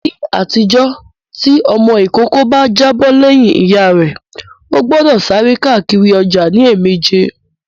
Ní àtijọ́, tí ọmọ ìkókó obìnrin bá jábọ̀ lẹ́yìn Ìyá rẹ, ó gbọ́dọ̀ sáré káàkiri ọjà ní ẹ̀mẹjẹ